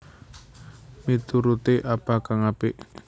Mituruté apa kang apik